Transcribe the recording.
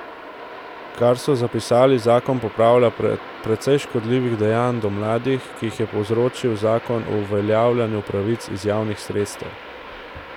Kot so zapisali, zakon popravlja precej škodljivih dejanj do mladih, ki jih je povzročil zakon o uveljavljanju pravic iz javnih sredstev.